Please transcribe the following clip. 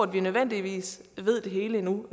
vi nødvendigvis ved det hele endnu